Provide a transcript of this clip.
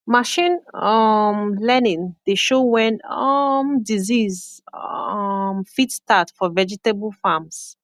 machine um learning dey show when um disease um fit start for vegetable farms